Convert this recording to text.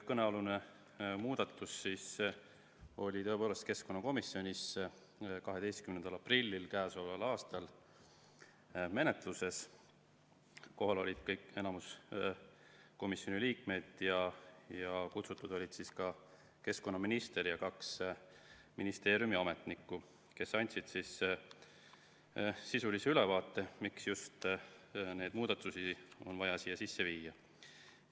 Kõnealune muudatus oli tõepoolest keskkonnakomisjonis menetluses 12. aprillil k.a. Kohal oli enamik komisjoni liikmeid ja kutsutud olid ka keskkonnaminister ja kaks ministeeriumi ametnikku, kes andsid sisulise ülevaate, miks just neid muudatusi on vaja siia sisse viia.